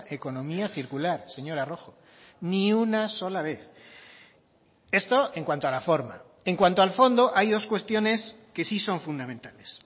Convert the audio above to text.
economía circular señora rojo ni una sola vez esto en cuanto a la forma en cuanto al fondo hay dos cuestiones que sí son fundamentales